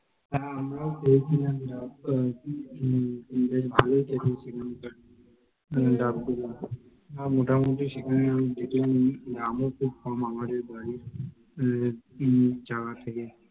হ্যাঁ আমরা ও খেয়েছিলাম, ভালোই খেতে লেগেছিলো ডাব গুলো, মোটামুটি সেখানে দেখলাম দাম ও খুব কম আমাদের বাড়ির থেকে, তিন চার থেকে,